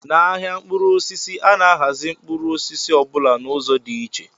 N'ahịa mkpụrụ osisi, a na-ahazi mkpụrụ osisi ọ bụla n'ụzọ dị iche